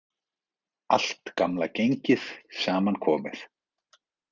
Allt gamla gengið saman komið